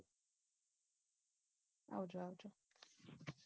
આવજો આવજો